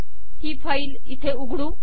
ही file इथे उघडू